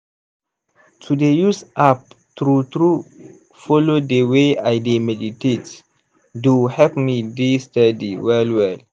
to dey use app true true follow dey way i dey meditate do help me dey steady well well.